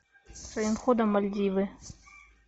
своим ходом мальдивы